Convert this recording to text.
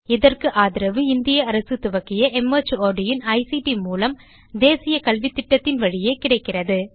இதற்கு ஆதரவு இந்திய அரசு துவக்கிய மார்ட் இன் ஐசிடி மூலம் தேசிய கல்வித்திட்டத்தின் வழியே கிடைக்கிறது